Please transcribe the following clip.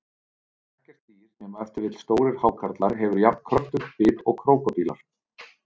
Ekkert dýr, nema ef til vill stórir hákarlar, hefur jafn kröftugt bit og krókódílar.